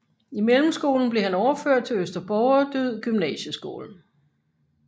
I mellemskolen blev han overført til Øster Borgerdyd Gymnasieskole